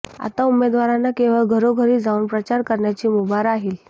आता उमेदवारांना केवळ घरोघरी जाऊन प्रचार करण्याची मुभा राहील